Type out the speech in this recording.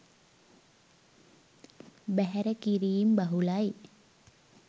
බැහැර කිරීම් බහුලයි